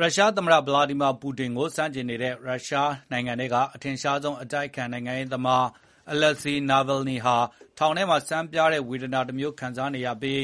ရုရှားသမ္မတ ဗလာဒီမီယာ ပူတင်ကို ဆန့်ကျင်နေတဲ့ ရုရှားနိုင်ငံထဲက အထင်ရှားဆုံး အတိုက်အခံ နိုင်ငံရေးသမား အလက်ဇီ နာဗယ်လ်နီဟာ ထောင်ထဲမှာ ဆန်းပြားတဲ့ ဝေဒနာတမျိုး ခံစားနေရပြီး